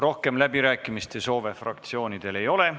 Rohkem läbirääkimiste soove fraktsioonidel ei ole.